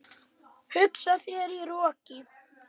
Hugsaðu þér- í roki!